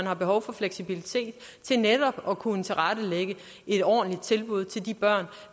har behov for fleksibilitet til netop at kunne tilrettelægge et ordentligt tilbud til de børn